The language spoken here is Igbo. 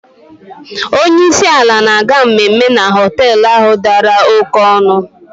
Onye isi ala na-aga mmemme na họtel ahụ dara oké ọnụ.